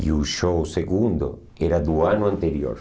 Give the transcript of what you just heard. E o show segundo era do ano anterior.